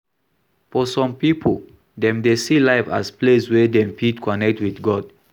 For some pipo, dem dey see life as place wey dem fit connect with God